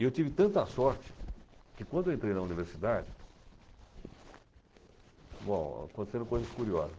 E eu tive tanta sorte que quando eu entrei na universidade... Bom, aconteceram coisas curiosas.